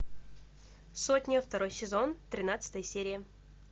сотня второй сезон тринадцатая серия